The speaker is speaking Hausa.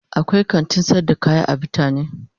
akwai kantin sayar da kaya a bitane.